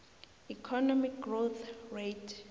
economic growth rate